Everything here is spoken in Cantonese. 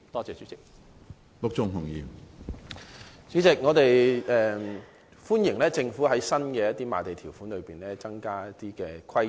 主席，我們歡迎政府在新用地的賣地條款中，加入設立電影院的規定。